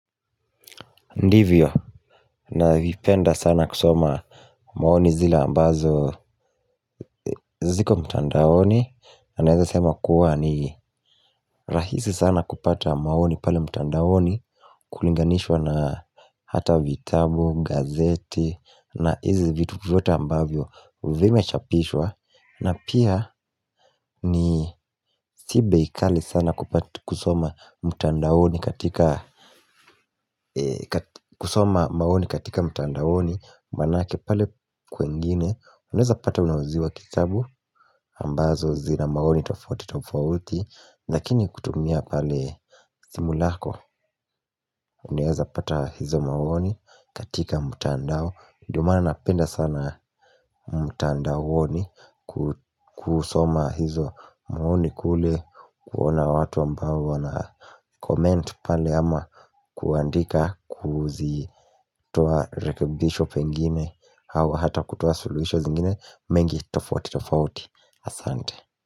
Ndivyo, navipenda sana kusoma maoni zile ambazo ziko mtandaoni na naeza sema kuwa ni rahisi sana kupata maoni pale mtandaoni Kulinganishwa na hata vitabu, gazeti na hizi vitu vyote ambavyo vimechapishwa na pia ni si bei kali sana kupata kusoma mtandaoni katika kusoma maoni katika mtandaoni Manake pale kwengini Uneza pata unauziwa kitabu ambazo zina maoni tofoti tofauti. Lakini kutumia pale simu lako Unaeza pata hizo maoni katika mtandao ndio maana napenda sana mtandaoni kusoma hizo maoni kule kuona watu ambao wanacomment pale ama kuandika kuzitoa rekebisho pengine Hawa hata kutoa solutions ingine mengi tofauti tofauti asante.